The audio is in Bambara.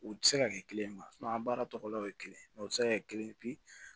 U tɛ se ka kɛ kelen ye an baara tɔlaw ye kelen o tɛ se ka kɛ kelen ye